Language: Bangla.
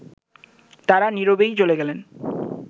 তারা নীরবেই চলে গেলেন